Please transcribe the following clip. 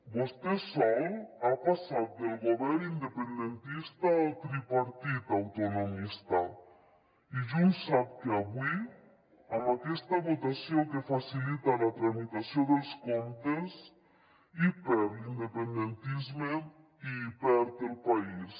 vostè sol ha passat del govern independentista al tripartit autonomista i junts sap que avui amb aquesta votació que facilita la tramitació dels comptes hi perd l’independentisme i hi perd el país